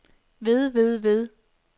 ved ved ved